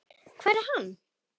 Hvar er hann?